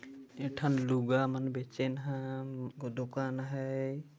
ए ठन लूगा मन बेचेन हा दुकान है।